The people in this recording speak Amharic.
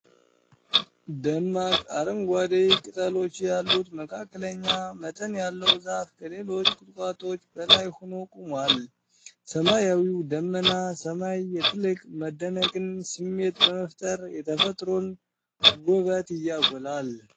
ደማቅ አረንጓዴ ቅጠሎች ያሉት መካከለኛ መጠን ያለው ዛፍ ከሌሎች ቁጥቋጦዎች በላይ ሆኖ ቆሟል። ሰማያዊና ደመናማ ሰማይ የጥልቅ መደነቅን ስሜት በመፍጠር የተፈጥሮን ውበት ያጎላል።